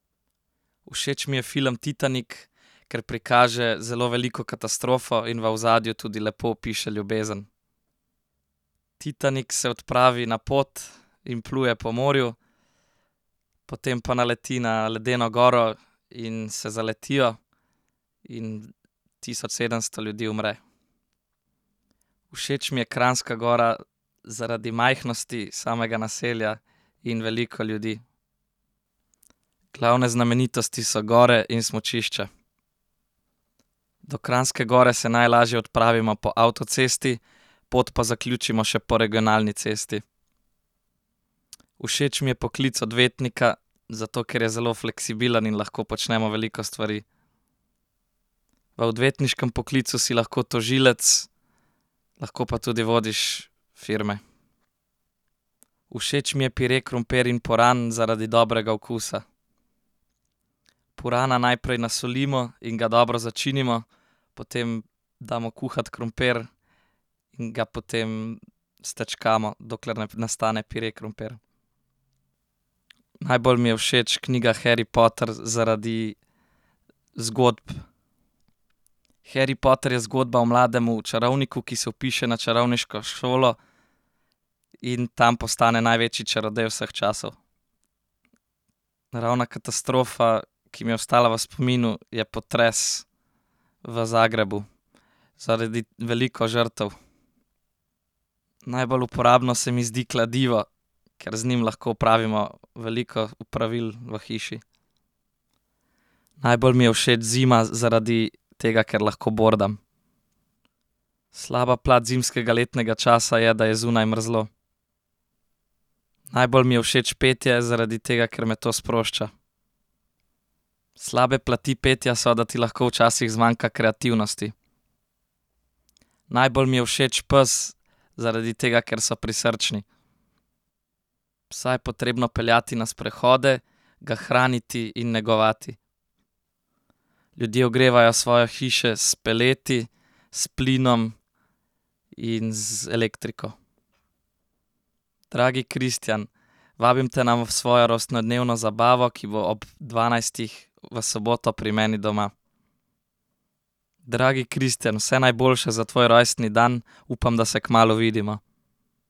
Všeč mi je film Titanik, ker prikaže zelo veliko katastrofo in v ozadju tudi lepo opiše ljubezen. Titanik se odpravi na pot in pluje po morju. Potem pa naleti na ledeno goro in se zaletijo in tisoč sedemsto ljudi umre. Všeč mi je Kranjska Gora zaradi majhnosti samega naselja in veliko ljudi. Glavne znamenitosti so gore in smučišča. Do Kranjske Gore se najlažje odpravimo po avtocesti pot pa zaključimo še po regionalni cesti. Všeč mi je poklic odvetnika, zato ker je zelo fleksibilen in lahko počnemo veliko stvari. V odvetniškem poklicu si lahko tožilec, lahko pa tudi vodiš firme. Všeč mi je pire krompir in puran zaradi dobrega okusa. Purana najprej nasolimo in ga dobro začinimo potem damo kuhati krompir in ga potem stečkamo, dokler ne nastane pire krompir. Najbolj mi je všeč knjiga Harry Potter zaradi zgodb. Harry Potter je zgodba o mladem čarovniku, ki se vpiše na čarovniško šolo in tam postane največji čarodej vseh časov. Naravna katastrofa, ki mi je ostala v spominu, je potres v Zagrebu. Zaradi veliko žrtev. Najbolj uporabno se mi zdi kladivo, ker z njim lahko opravimo veliko opravil v hiši. Najbolj mi je všeč zima zaradi tega, ker lahko bordam. Slaba plat zimskega letnega časa je, da je zunaj mrzlo. Najbolj mi je všeč petje, zaradi tega ker me to sprošča. Slabe plati petja so, da ti lahko včasih zmanjka kreativnosti. Najbolj mi je všeč pes, zaradi tega, ker so prisrčni. Psa je potrebno peljati na sprehode, ga hraniti in negovati. Ljudje ogrevajo svoje hiše s peleti, s plinom in z elektriko. Dragi Kristjan, vabim te na svojo rojstnodnevno zabavo, ki bo ob dvanajstih v soboto pri meni doma. Dragi Kristjan, vse najboljše za tvoj rojstni dan. Upam, da se kmalu vidimo.